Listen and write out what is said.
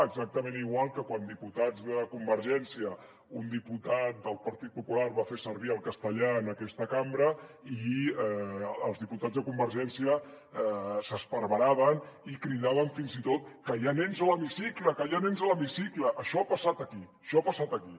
exactament igual que quan un diputat del partit popular va fer servir el castellà en aquesta cambra i els diputats de convergència s’esparveraven i cridaven fins i tot que hi ha nens a l’hemicicle que hi ha nens a l’hemicicle això ha passat aquí això ha passat aquí